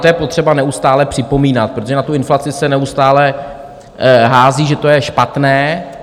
To je potřeba neustále připomínat, protože na tu inflaci se neustále hází, že to je špatné.